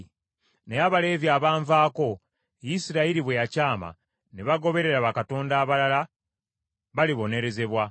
“ ‘Naye Abaleevi abanvaako, Isirayiri bwe yakyama, ne bagoberera bakatonda abalala, balibonerezebwa.